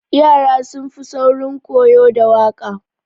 Yara sun fi saurin koyo da waƙa.